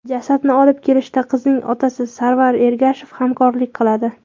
Jasadni olib kelishda qizning otasi Sarvar Ergashev hamrohlik qiladi.